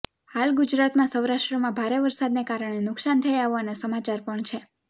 હાલ ગુજરાતમાં સૌરાષ્ટ્રમાં ભારે વરસાદને કારણે નુકસાન થયા હોવાના સમાચાર પણ છે